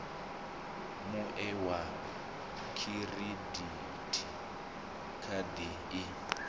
mue wa khiridithi khadi i